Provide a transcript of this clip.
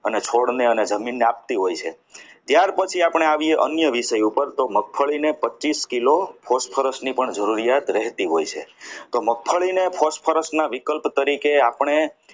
અને છોડને અને જમીનને આપતી હોય છે ત્યાર પછી આપણે આવી અન્ય વિષય ઉપર તો મગફળીને પચીસ કિલો phosphorus ની પણ જરૂરિયાત રહેતી હોય છે તો મગફળીને phosphorus ના વિકલ્પ તરીકે આપણે